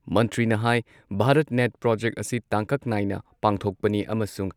ꯃꯟꯇ꯭ꯔꯤꯅ ꯍꯥꯏ Bharat net project ꯑꯁꯤ ꯇꯥꯡꯀꯛ ꯅꯥꯏꯅ ꯄꯥꯡꯊꯣꯛꯄꯅꯤ ꯑꯃꯁꯨꯡ